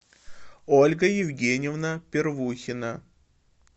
ольга евгеньевна первухина